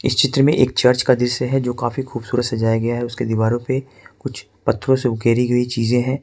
इस चित्र में एक चर्च का दृश्य है जो काफी खूबसूरत सजाया गया है उसके दीवारों पे कुछ पत्थरों से उकेरी गई चीजें हैं।